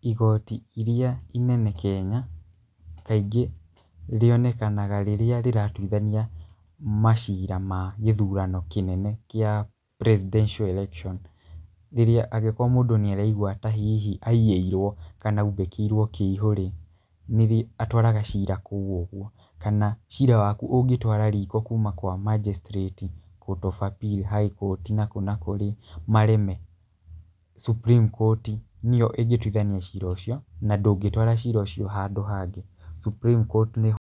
Igooti iria inene Kenya kaingĩ rĩonekanaga rĩrĩa rĩratuithania macira ma gĩthurano kĩnene gĩa presidential election rĩrĩa angĩkorwo mũndũ nĩ araigua ta hihi aiyĩirwo kana aubĩkirwo kĩihũ rĩ, atwaraga cira kũu ũguo. Kana cira waku ũngĩtwara riko kuuma kwa Magistrate, Court of Appeal, High Court na kũ na kũ rĩ mareme, Supreme Court nĩyo ĩngĩtuithania cira ũcio, na ndũngĩtwara cira ucio handũ hangĩ. Supreme court nĩho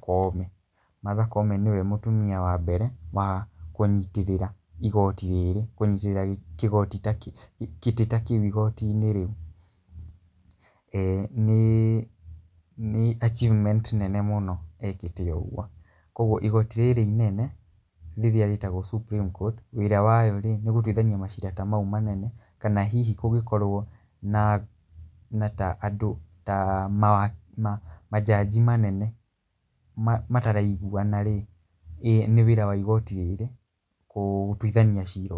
Koome. Martha Koome nĩwe mũtumia wa mbere wa kũnyitĩrĩra igooti rĩrĩ, kũnyitĩrĩra gĩtĩ ta kĩu igooti-inĩ rĩu. Nĩ achievement nene mũno ekĩte o ũguo. Koguo igooti rĩrĩ inene rĩrĩa rĩtagwo Supreme court wĩra wayo rĩ nĩ gũtuithania macira ta mau manene kana hihi kũngĩkorwo na andũ ta ma judges manene mataraiguana rĩ, nĩ wĩra wa igooti rĩrĩ gũtuithania cira u...